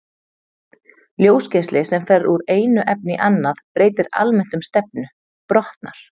Ljósgeisli sem fer úr einu efni í annað breytir almennt um stefnu, brotnar.